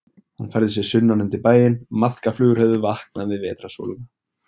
Hann færði sig sunnan undir bæinn, maðkaflugur höfðu vaknað við vetrarsólina.